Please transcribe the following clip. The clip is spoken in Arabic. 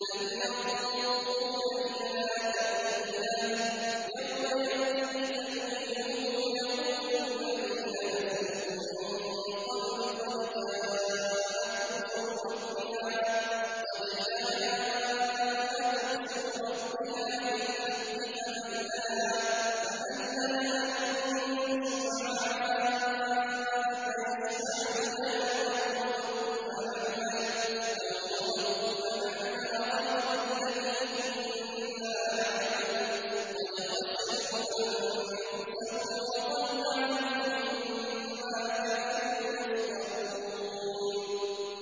هَلْ يَنظُرُونَ إِلَّا تَأْوِيلَهُ ۚ يَوْمَ يَأْتِي تَأْوِيلُهُ يَقُولُ الَّذِينَ نَسُوهُ مِن قَبْلُ قَدْ جَاءَتْ رُسُلُ رَبِّنَا بِالْحَقِّ فَهَل لَّنَا مِن شُفَعَاءَ فَيَشْفَعُوا لَنَا أَوْ نُرَدُّ فَنَعْمَلَ غَيْرَ الَّذِي كُنَّا نَعْمَلُ ۚ قَدْ خَسِرُوا أَنفُسَهُمْ وَضَلَّ عَنْهُم مَّا كَانُوا يَفْتَرُونَ